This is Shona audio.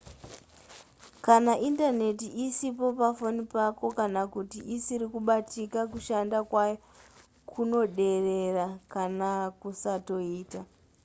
kana indaneti isipo pafoni pako kana kuti isiri kubatika kushanda kwayo kunoderera kana kusatoita